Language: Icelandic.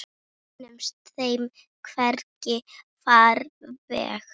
Við finnum þeim hvergi farveg.